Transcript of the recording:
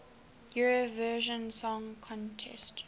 eurovision song contest